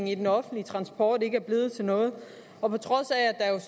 i den offentlige transport ikke er blevet til noget og på trods af